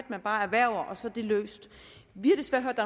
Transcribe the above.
man bare erhverver og så er det løst vi har desværre hørt